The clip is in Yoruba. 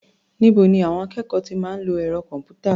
Níbo ni àwọn akẹ́kọ̀ọ́ ti máa ń lo ẹ̀rọ kọ̀m̀pútà?